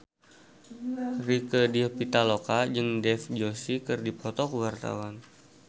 Rieke Diah Pitaloka jeung Dev Joshi keur dipoto ku wartawan